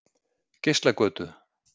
Geislagötu